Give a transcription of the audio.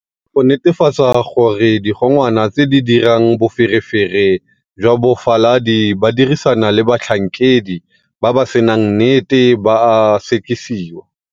Go netefatsa gore digongwana tse di dirang boferefere jwa bofaladi ba dirisana le batlhankedi ba ba senang nnete ba a sekisiwa.